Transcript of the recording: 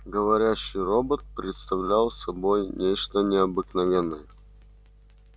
говорящий робот представлял собой нечто необыкновенное